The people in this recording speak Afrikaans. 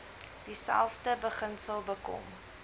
dieselfde beginsel bekom